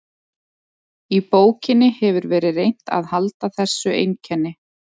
Í bókinni hefur verið reynt að halda þessu einkenni.